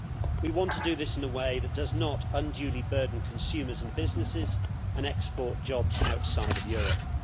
We want to do this in a way that does not unduly burden consumers and businesses and export jobs outside of Europe.